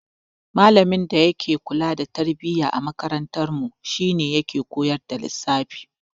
Malamin da yake kula da tarbiyya a makarantarmu shi yake koyar da lissafi.